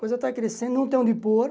A coisa está crescendo, não tem onde pôr.